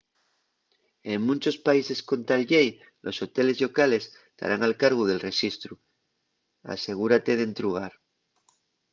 en munchos países con tal llei los hoteles llocales tarán al cargu del rexistru asegúrate d’entrugar